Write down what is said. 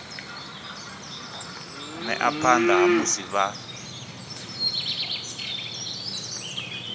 ḓea phanḓa ha musi vha